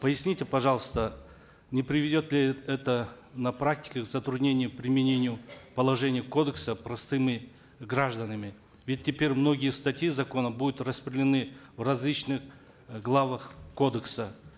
поясните пожалуйста не приведет ли это на практике к затруднению применения положения кодекса простыми гражданами ведь теперь многие статьи закона будут распределены в различных э главах кодекса